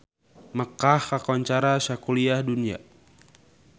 Mekkah kakoncara sakuliah dunya